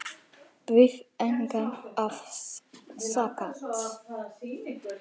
Við engan að sakast